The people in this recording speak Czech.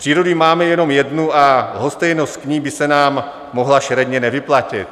Přírodu máme jenom jednu a lhostejnost k ní by se nám mohla šeredně nevyplatit.